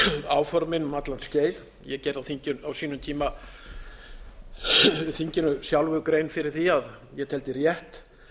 áform mín um alllangt skeið ég gerði á þinginu á sínum tíma grein fyrir því að ég teldi rétt